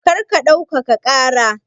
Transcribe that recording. Kar ka ɗaukaka ƙara!